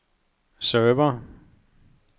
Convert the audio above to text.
server